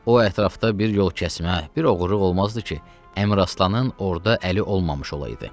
O ətrafda bir yol kəsmə, bir oğurluq olmazdı ki, Əmiraslanın orda əli olmamış olaydı.